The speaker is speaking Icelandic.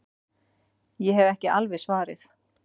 Ég hef ekki alveg svarið.